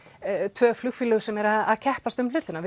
tvö flugfélög sem eru að keppast um hlutina